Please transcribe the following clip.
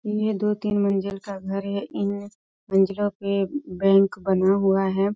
ये दो तीन मंजिल का घर है इन मंजिलो पे बैंक बना हुआ है |